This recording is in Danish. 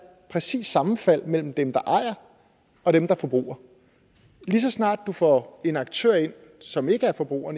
præcist sammenfald mellem dem der ejer og dem der forbruger lige så snart du får en aktør ind som ikke er forbruger